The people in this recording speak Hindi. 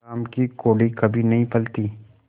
हराम की कौड़ी कभी नहीं फलती